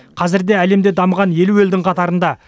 қазірде әлемде дамыған елу елдің қатарында